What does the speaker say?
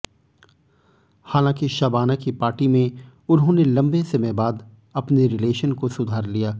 हालांकि शबाना की पार्टी में उन्होंने लंबे समय बाद अपने रिलेशन को सुधार लिया